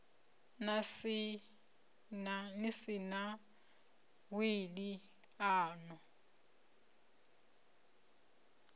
si na wili a no